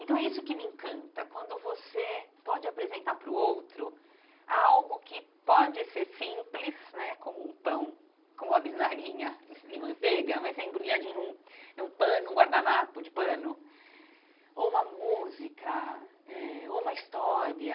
Então é isso que me encanta, quando você pode apresentar para o outro algo que pode ser simples né, como um pão, como uma bisnaguinha de manteiga, mas embrulhadinha num em um pano, num guardanapo de pano, ou uma música eh, ou uma história,